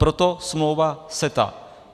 Proto smlouva CETA.